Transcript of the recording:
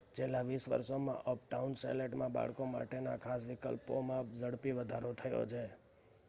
છેલ્લા 20 વર્ષોમાં અપટાઉન શેલેટમાં બાળકો માટેના ખાસ વિકલ્પોમાં ઝડપી વધારો થયો છે